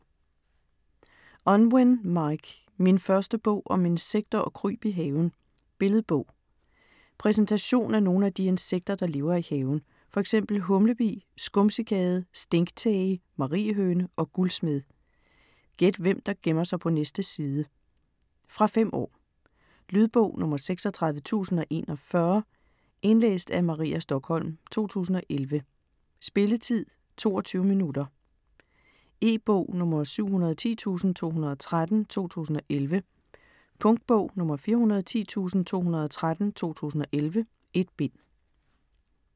Unwin, Mike: Min første bog om insekter og kryb i haven Billedbog. Præsentation af nogle af de insekter, der lever i haven, f.eks. humlebi, skumcikade, stinktæge, mariehøne og guldsmed. Gæt hvem der gemmer sig på næste side. Fra 5 år. Lydbog 36041 Indlæst af Maria Stokholm, 2011. Spilletid: 0 timer, 22 minutter. E-bog 710213 2011. Punktbog 410213 2011. 1 bind.